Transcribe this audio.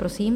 Prosím.